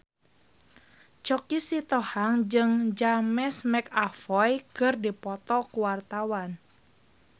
Choky Sitohang jeung James McAvoy keur dipoto ku wartawan